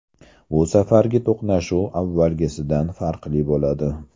Bu safargi to‘qnashuv avvalgisidan farqli bo‘ladi”.